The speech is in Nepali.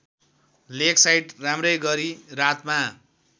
लेकसाइड राम्रैगरी रातमा